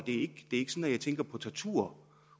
jeg tænker på tortur